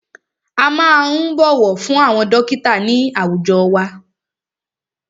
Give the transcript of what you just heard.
A máa ń bọ̀wọ̀ fún àwọn dọ́kítà ní àwùjọ wa.